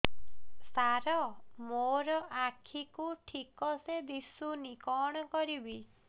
ସାର ମୋର ଆଖି କୁ ଠିକସେ ଦିଶୁନି କଣ କରିବି